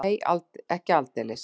Nei, ekki aldeilis.